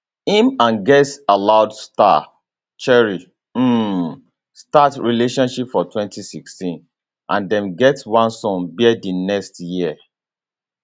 im and girls aloud star cheryl um start relationship for 2016 and dem get one son bear di next year